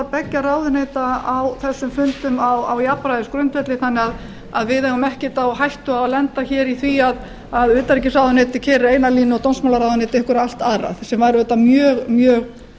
beggja ráðuneyta á þessum fundum á jafnræðisgrundvelli þannig að við eigum ekkert á hættu að lenda hér í því að utanríkisráðuneytið keyri eina línu og dómsmálaráðuneytið einhverja allt aðra sem væri auðvitað mjög mjög